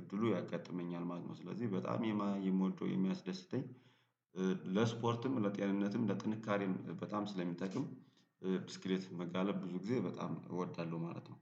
እድሉ ያጋጥመኛል ማለት ነው። ስለዚህ በጣም የማ የምወደው የሚያስደስተኝ ለስፖርትም ለጤንነትም ለጥንካሬም በጣም ስለሚጠቅም። ብስስክሌት መጋለብ ብዙ ጊዜ በጣም እወዳለሁ ማለት ነው